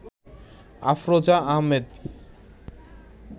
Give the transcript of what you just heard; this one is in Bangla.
আফরোজা আহমেদ